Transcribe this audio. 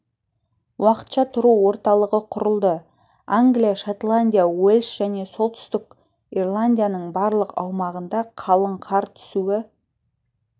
уақытша тұру орталығы құрылды англия шотландия уэльс және солтүстік ирландияның барлық аумағында қалың қар түсуі